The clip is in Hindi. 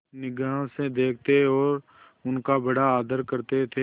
निगाह से देखते और उनका बड़ा आदर करते थे